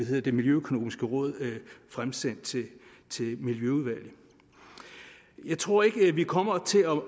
det det miljøøkonomiske råd fremsendte til miljøudvalget jeg tror ikke at vi kommer til at